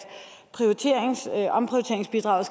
omprioriteringsbidraget